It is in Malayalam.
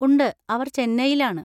ഉണ്ട്, അവർ ചെന്നൈയിലാണ്.